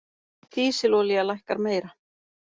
Dísilolía lækkar meira